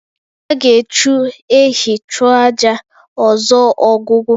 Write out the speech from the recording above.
A ga-eji echu ehi chụọ àjà ọzọ Ogwugwu